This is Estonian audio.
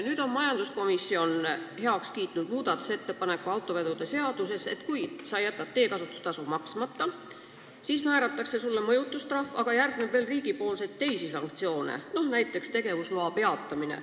Nüüd on majanduskomisjon heaks kiitnud muudatusettepaneku autoveoseaduse kohta, et kui sa jätad teekasutustasu maksmata, siis määratakse sulle mõjutustrahv, millele järgneb riigilt veel teisi sanktsioone, näiteks tegevusloa peatamine.